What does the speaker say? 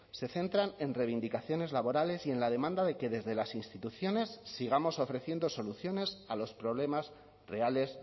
se centran en reivindicaciones laborales y en la demanda de que desde las instituciones sigamos ofreciendo soluciones a los problemas reales